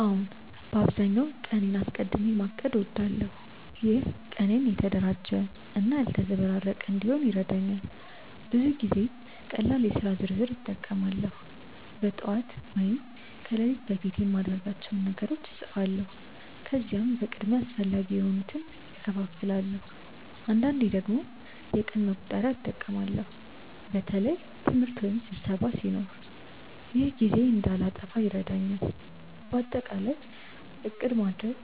አዎን፣ በአብዛኛው ቀኔን አስቀድሚ ማቀድ እወዳለሁ። ይህ ቀኔን የተደራጀ እና ያልተዘበራረቀ እንዲሆን ይረዳኛል። ብዙ ጊዜ ቀላል የሥራ ዝርዝር (to-do list) እጠቀማለሁ። በጠዋት ወይም ከሌሊት በፊት የማድርጋቸውን ነገሮች እጻፋለሁ፣ ከዚያም በቅድሚያ አስፈላጊ የሆኑትን እከፋፍላለሁ። አንዳንዴ ደግሞ የቀን መቁጠሪያ (calendar) እጠቀማለሁ በተለይ ትምህርት ወይም ስብሰባ ሲኖር። ይህ ጊዜዬን እንዳልጠፋ ይረዳኛል። በአጠቃላይ ዕቅድ ማድረግ